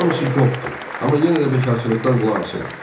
Hamısı qopdu, amma yenə də bekarçılıqdan qulaq asırıq.